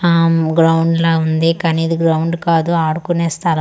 ఆమ్ ground లా ఉంది కాని ఇది గ్రౌండ్ కాదు ఆడుకునే స్థల--